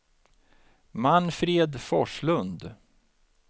Manfred Forslund